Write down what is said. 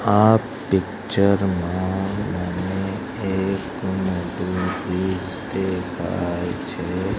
આ પિક્ચર મા મને એક મોટું દેખાય છે.